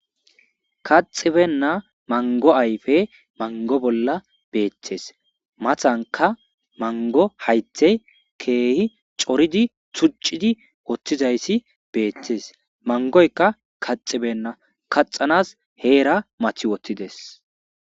Kathtibena mango ayfe mango bolla bettes.matankka mango hayththe keehi coridi tuccidi uttizayssi bettes.mangoykka kaxxibenna. Kaxxannas heera maaththi woththides.